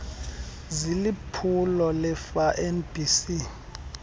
ziliphulo lerfa nbc